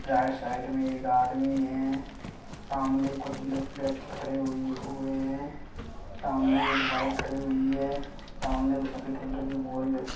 right side मैं एक आदमी हैं सामने कुछ खड़े हुए हैं सामने एक बाइक खड़ी हुई हैं सामने वह सफ़ेद कलर --